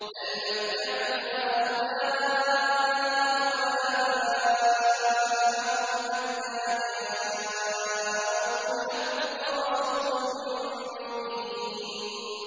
بَلْ مَتَّعْتُ هَٰؤُلَاءِ وَآبَاءَهُمْ حَتَّىٰ جَاءَهُمُ الْحَقُّ وَرَسُولٌ مُّبِينٌ